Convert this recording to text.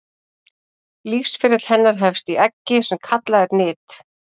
lífsferill hennar hefst í eggi sem kallað er nit